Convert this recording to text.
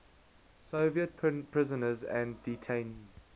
soviet prisoners and detainees